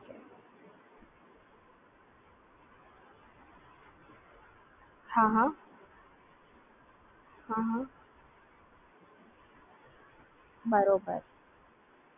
હા